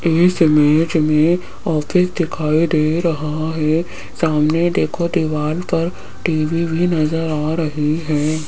इस इमेज में ऑफिस दिखाई दे रहा है सामने देखो दीवाल पर टी_वी भी नजर आ रही है।